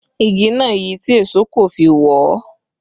Igi náà yi tí èṣó kò fi wọ ọ́